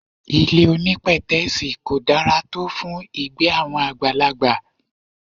Ilé onípètẹ́sì kò dára tó fún ìgbé àwọn àgbàlagbà.